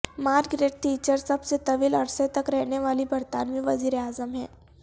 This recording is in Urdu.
مارگریٹ تھیچر سب سے طویل عرصہ تک رہنے والی برطانوی وزیراعظم ہیں